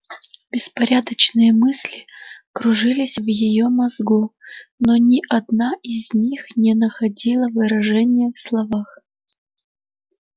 беспорядочные мысли кружились в её мозгу но ни одна из них не находила выражения в словах